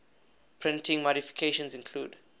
printing modifications include